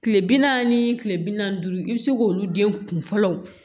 Kile bi naani ni kile bi naani ni duuru i bi se k'olu den kunfɔlɔ